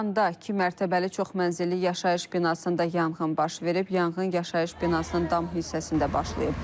Şirvanda iki mərtəbəli çoxmənzilli yaşayış binasında yanğın baş verib, yanğın yaşayış binasının dam hissəsində başlayıb.